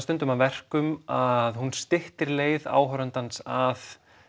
stundum að verkum að hún styttir leið áhorfandans að